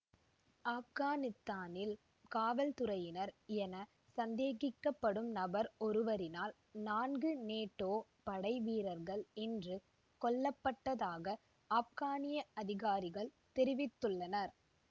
ஆப்கானித்தானத்தில் காவல்துறையினர் என சந்தேகிக்க படும் நபர் ஒருவரினால் நான்கு நேட்டோ படை வீரர்கள் இன்று கொல்ல பட்டதாக ஆப்கானிய அதிகாரிகள் தெரிவித்துள்ளனர்